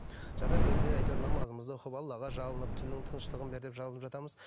жатар кезде әйтеуір намазымызды оқып аллаға жалынып түннің тыныштығын бер деп жалынып жатамыз